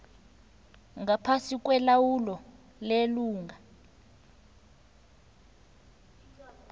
ngaphasi kwelawulo lelunga